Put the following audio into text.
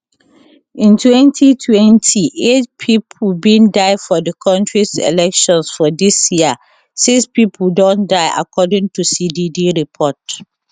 in 2020 8 pipo bin die for di kontris elections for dis year 6 pipo don die according to cdd report